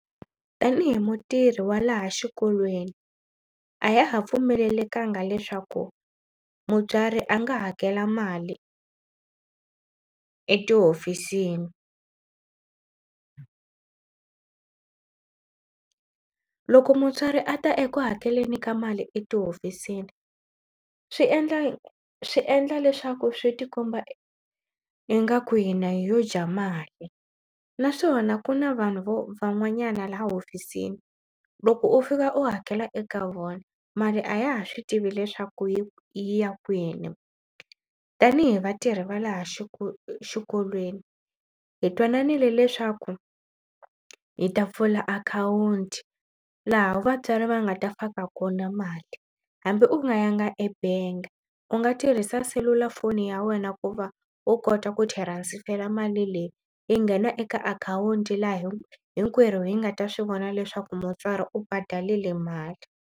Tanihi mutirhi wa laha xikolweni a ya ha pfumelelekangi leswaku mutswari a nga hakela mali etihofisini. Loko mutswari a ta eku hakeleni ka mali etihofisini swi endla swi endla leswaku swi tikomba ingaku hina hi yo dya mali naswona ku na vanhu vo van'wanyana laha hofisini loko u fika u hakela eka vona mali a ya ha swi tivi leswaku yi ya kwini. Tanihi vatirhi va laha xikolweni hi twananile leswaku hi ta pfula akhawunti laha vatswari va nga ta faka kona mali hambi u nga ya nga ebangi u nga tirhisa selulafoni ya wena ku va u kota ku transfer mali leyi yi nghena eka akhawunti laha hi hinkwerhu hi nga ta swi vona leswaku mutswari u badalile mali.